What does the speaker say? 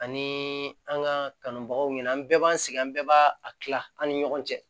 Ani an ka kanubagaw ɲɛna an bɛɛ b'an sigi an bɛɛ b'a a kila an ni ɲɔgɔn cɛ